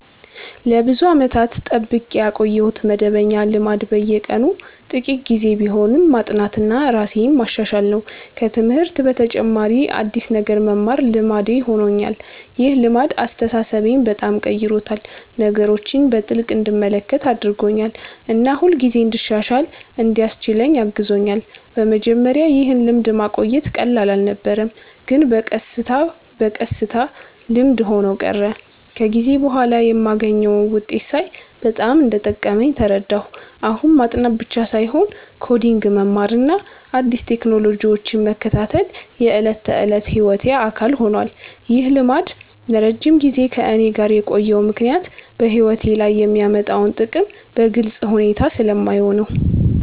ለብዙ ዓመታት የጠብቄ ያቆየሁት መደበኛ ልማድ በየቀኑ ጥቂት ጊዜ ቢሆንም ማጥናትና ራሴን ማሻሻል ነው። ከትምህርት በተጨማሪ አዲስ ነገር መማር ልማዴ ሆኖኛል። ይህ ልማድ አስተሳሰቤን በጣም ቀይሮታል፤ ነገሮችን በጥልቅ እንድመለከት አድርጎኛል እና ሁልጊዜ እንድሻሻል እንዲያስችለኝ አግዞኛል። በመጀመሪያ ይህን ልማድ ማቆየት ቀላል አልነበረም፣ ግን በቀስታ በቀስታ ልምድ ሆኖ ቀረ። ከጊዜ በኋላ የማገኘውን ውጤት ሳይ በጣም እንደጠቀመኝ ተረዳሁ። አሁን ማጥናት ብቻ ሳይሆን ኮዲንግ መማርና አዲስ ቴክኖሎጂዎችን መከታተል የዕለት ተዕለት ሕይወቴ አካል ሆኗል። ይህ ልማድ ለረጅም ጊዜ ከእኔ ጋር የቆየው ምክንያት በሕይወቴ ላይ የሚያመጣውን ጥቅም በግልጽ ሁኔታ ስለማየው ነው።